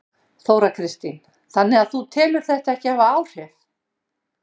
Þóra Kristín: Þannig að þú telur þetta ekki hafa áhrif?